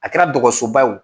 A kɛra dɔgɔsoba y'o